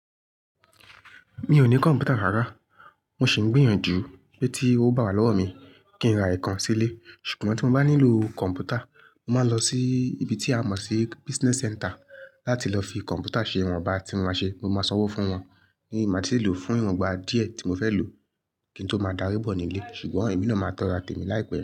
Mi ò ní kọ̀m̀pútà rárá, mo sì ń gbìyànjú pé tí ó bá wà lọ́wọ́ mi kí n ra ìkan sílé. Ṣùgbọ́n tí mo bá nílò kọ̀m̀pútà, mo máa ń lọ sí ibi tí a mọ̀ sí business center láti lọ fi kọ̀m̀pútà ṣe ìwon bá tí mo máa ṣe. Mo máa sanwó fún wọn ní màá ti lè lò fún ìràn bá díẹ̀ tí mo fẹ́ lò kí n tó máa darí bọ̀ nílé. Ṣùgbọ́n ẹ̀mí náà máa tọra tẹ mi láìpẹ́.